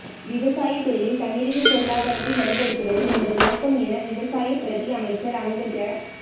விவசாயத்துறையில் தன்னிறைவு பொருளாதாரத்தை வலுப்படுத்துவதே எமது நோக்கம் என விவசாய பிரதி அமைச்சர் அங்கஜ